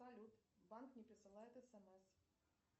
салют банк не присылает смс